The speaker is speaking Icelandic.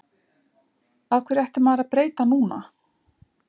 Af hverju ætti maður að breyta til núna?